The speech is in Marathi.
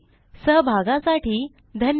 सहभागासाठी धन्यवाद